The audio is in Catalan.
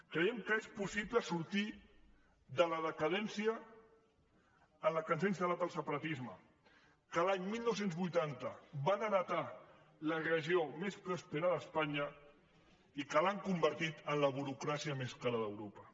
creiem que és possible sortir de la decadència en què ens ha instal·lat el separatisme que l’any dinou vuitanta va heretar la regió més pròspera d’espanya i que l’ha convertit en la burocràcia més cara d’europa